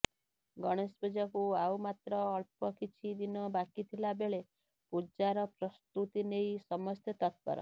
ଗଣେଶ ପୂଜାକୁ ଆଉମାତ୍ର ଅଳ୍ପ କିଛି ଦିନ ବାକି ଥିଲା ବେଳେ ପୂଜାର ପ୍ରସ୍ତୁତି ନେଇ ସମସ୍ତେ ତତ୍ପର